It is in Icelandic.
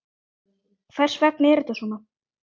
Hvers vegna er þetta svona?